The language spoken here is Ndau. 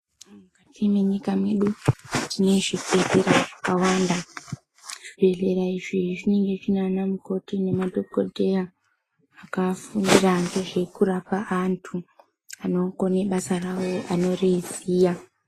Mukati menyika yedu tine zvibhedhlera zvakawanda, zvibhedhlera izvi zvinenge zvina ana mukoti nemadhokodheya akafundira ngezvekurapa antu anokone basa rawo anoriziya.